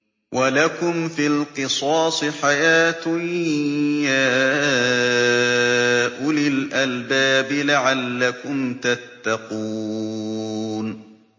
وَلَكُمْ فِي الْقِصَاصِ حَيَاةٌ يَا أُولِي الْأَلْبَابِ لَعَلَّكُمْ تَتَّقُونَ